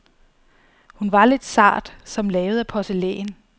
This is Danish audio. Hun var lidt sart, som lavet af porcelæn.